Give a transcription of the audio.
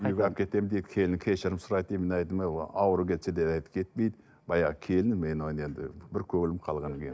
үйге алып кетемін дейді келіні кешірім сұрайды дейді мен айттым ауру кетсе де әдет кетпейді баяғы келінім мен оны енді бір көңілім қалғаннан кейін